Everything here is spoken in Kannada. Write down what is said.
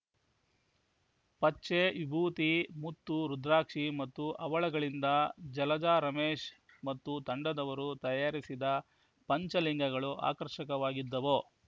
ಪಚ್ಚೆ ವಿಭೂತಿ ಮುತ್ತು ರುದ್ರಾಕ್ಷಿ ಮತ್ತು ಹವಳಗಳಿಂದ ಜಲಜಾ ರಮೇಶ್‌ ಮತ್ತು ತಂಡದವರು ತಯಾರಿಸಿದ ಪಂಚಲಿಂಗಗಳು ಆಕರ್ಷಕವಾಗಿದ್ದವು